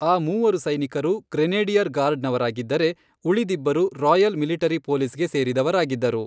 ಆ ಮೂವರು ಸೈನಿಕರು ಗ್ರೆನೇಡಿಯರ್ ಗಾರ್ಡ್ನವರಾಗಿದ್ದರೆ, ಉಳಿದಿಬ್ಬರು ರಾಯಲ್ ಮಿಲಿಟರಿ ಪೊಲೀಸ್ಗೆ ಸೇರಿದವರಾಗಿದ್ದರು.